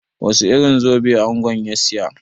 Wasu irin zobe angon ya siya?